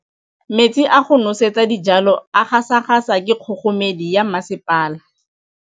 Metsi a go nosetsa dijalo a gasa gasa ke kgogomedi ya masepala.